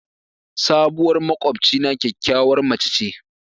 Sabuwar maƙwabcina kyakkyawar mace ce.